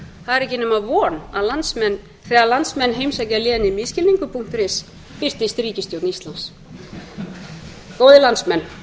er ekki nema von að þegar landsmenn heimsækja lénið misskilningur punktur is birtist ríkisstjórn íslands góðir landsmenn